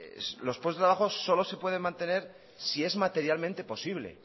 los puestos de trabajo solo se pueden mantener si es materialmente posible